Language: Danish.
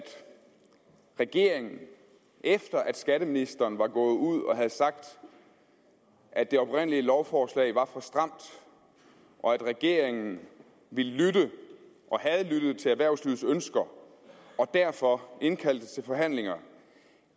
regeringen efter at skatteministeren var gået ud og havde sagt at det oprindelige lovforslag var for stramt og at regeringen ville lytte og havde lyttet til erhvervslivets ønsker derfor indkaldte til forhandlinger